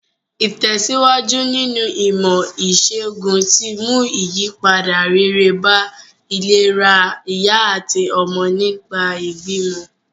Ìtèsíwájú nínu ìmò ìsègùn ti mú ìyípadà rere bá ìlera ìyá àtí ọmọ nìgbà ìbímọ